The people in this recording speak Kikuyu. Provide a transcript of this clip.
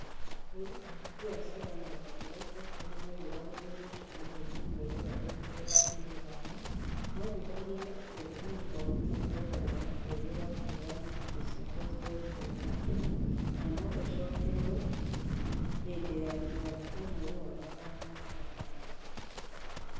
Ahũũri a biacara na rũhonge rwa betũrũ nĩ maiguithanirie mũcamanio-inĩ mweri wa Ĩpuro 15. Maiguithanirie atĩ thumuni o rita nĩ thogora wa ũũgĩ wa kũheana indo cia petroli kũrĩ akenya. Na no ũcokererwo hĩndĩ ya gĩthurano kĩa mweri wa gatano na wa gatandatũ.